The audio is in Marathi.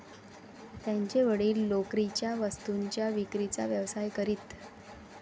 त्यांचे वडील लोकरीच्या वस्तूंच्या विक्रीचा व्यवसाय करीत.